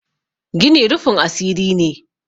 gini rufin asiri ne